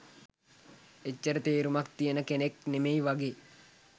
එච්චර තේරුමක් තියෙන කෙනෙක් නෙමෙයි වගේ.